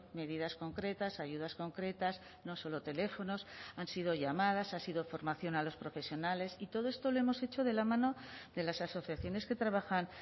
medidas concretas ayudas concretas no solo teléfonos han sido llamadas ha sido formación a los profesionales y todo esto lo hemos hecho de la mano de las asociaciones que trabajan